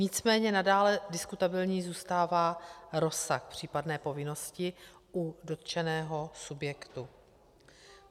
Nicméně nadále diskutabilní zůstává rozsah případné povinnosti u dotčeného subjektu.